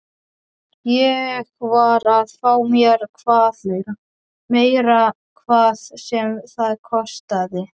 Ég varð að fá meira, hvað sem það kostaði.